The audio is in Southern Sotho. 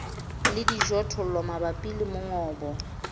le dijothollo mabapi le mongobo